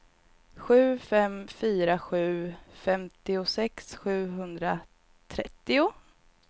sju fem fyra sju femtiosex sjuhundratrettio